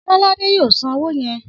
Ọlọ́ládé yóò san owó yẹn.